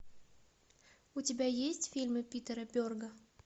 у тебя есть фильмы питера берга